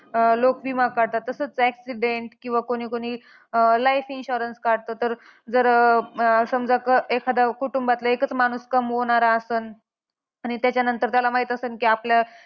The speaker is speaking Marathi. अं लोक विमा काढतात, तसंच accident किंवा कोणी कोणी अं life insurance काढतं. तर जर अं समजा एखादा कुटुंबातील एकच माणूस कमवणारा आसन, आणि त्याच्यानंतर त्याला माहित आसन की आपल्या